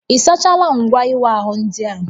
Ị sachaala ngwa ịwa ahụ ndị a?